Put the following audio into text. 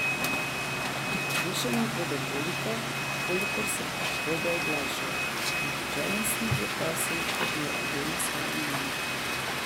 Slišani bomo toliko, kolikor se bomo oglašali, nihče nas ne bo prosil, naj povemo svoje mnenje.